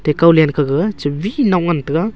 ekaw let gaga che bit non ngan taiga.